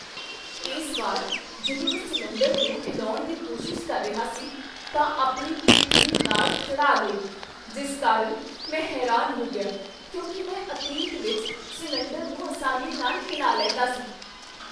ਇਸ ਵਾਰ ਜਦੋਂ ਮੈਂ ਸਿਲੰਡਰ ਨੂੰ ਹਿਲਾਉਣ ਦੀ ਕੋਸ਼ਿਸ਼ ਕਰ ਰਿਹਾ ਸੀ ਤਾਂ ਆਪਣੀ ਪਿੱਠ ਦੀ ਨਾੜ ਚੜ੍ਹਾ ਲਈ, ਜਿਸ ਕਾਰਨ ਮੈਂ ਹੈਰਾਨ ਹੋ ਗਿਆ ਕਿਉਂਕਿ ਮੈਂ ਅਤੀਤ ਵਿੱਚ ਸਿਲੰਡਰ ਨੂੰ ਅਸਾਨੀ ਨਾਲ ਹਿਲਾ ਲੈਂਦਾ ਸੀ।